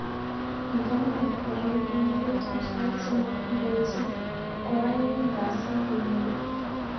Indene korir kengeletab sait somok ngoeche koaeng kasi nenyone